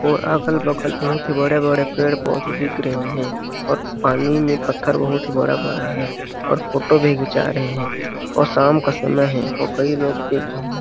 और अगल- बगल बहुत ही बड़े पेड़ पोधे दिख रहे हैं और पानी में पत्थर भी बहुत बड़ा- बड़ा है और फ़ोटो भी खीचा रहे हैं और शाम का समय है और कई लोग देखे हैं।